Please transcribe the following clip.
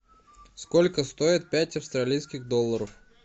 сколько стоит пять австралийских долларов